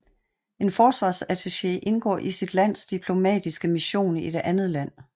En forsvarsattaché indgår i sit lands diplomatiske mission i et andet land